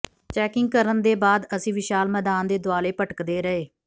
checking ਕਰਨ ਦੇ ਬਾਅਦ ਅਸੀਂ ਵਿਸ਼ਾਲ ਮੈਦਾਨ ਦੇ ਦੁਆਲੇ ਭਟਕਦੇ ਰਹੇ